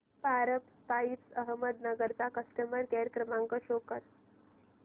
Paras pipes Ahmednagar चा customer care क्रमांक show करा